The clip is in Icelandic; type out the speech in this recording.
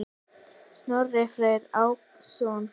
Snorri Freyr Ákason.